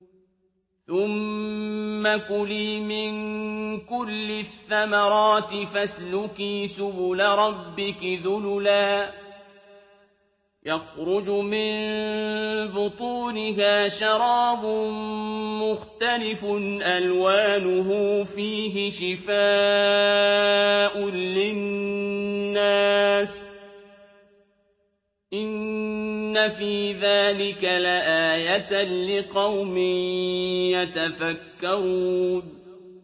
ثُمَّ كُلِي مِن كُلِّ الثَّمَرَاتِ فَاسْلُكِي سُبُلَ رَبِّكِ ذُلُلًا ۚ يَخْرُجُ مِن بُطُونِهَا شَرَابٌ مُّخْتَلِفٌ أَلْوَانُهُ فِيهِ شِفَاءٌ لِّلنَّاسِ ۗ إِنَّ فِي ذَٰلِكَ لَآيَةً لِّقَوْمٍ يَتَفَكَّرُونَ